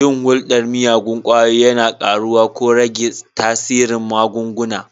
Yin hulɗar miyagun ƙwayoyi yana ƙaruwa ko rage tasirin magunguna.